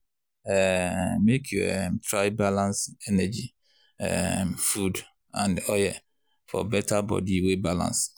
um make you um try balance energy um food and oil for better body wey balance.